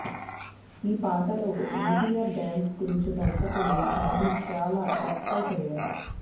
ఈ పాటలో ఎన్టీఆర్ డ్యాన్స్ గురించి దర్శకుడు బాబీ చాలా ఎక్సయిట్ అయ్యాడు